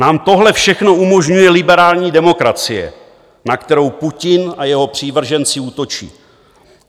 Nám tohle všechno umožňuje liberální demokracie, na kterou Putin a jeho přívrženci útočí.